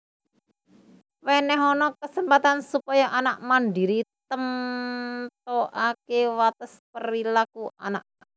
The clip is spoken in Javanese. Wenehana kesempatan supaya anak mandiri temtokake wates perilaku anak